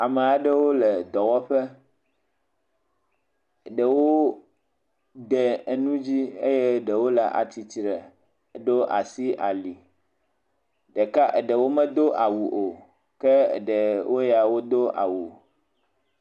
Ame aɖewo le dɔwɔƒɔ. Ɖewo de nu dzi eye ɖewo le atsitre ɖo asi ali. Ɖeka ɖewo medo awu o ke ɖewo ya wodo awu.